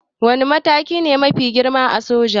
Wane mataki ne mafi girma a soja?